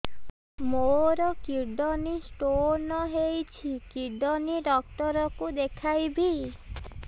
ମୋର kidney stone ହେଇଛି kidney doctor କୁ ଦେଖାଇବି